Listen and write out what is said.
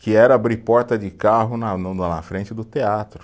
que era abrir porta de carro na no na frente do teatro.